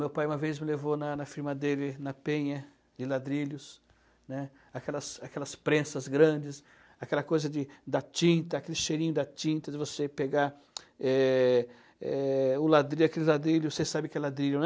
Meu pai uma vez me levou na na firma dele, na penha de ladrilhos, né, aquelas aquelas prensas grandes, aquela coisa de da tinta, aquele cheirinho da tinta de você pegar é é o ladrilho, aquele ladrilho, vocês sabem o que é ladrilho, né?